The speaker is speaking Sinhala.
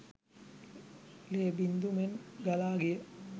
ලේ බිංදු මෙන් ගලා ගිය